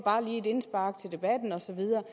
et indspark til debatten og så videre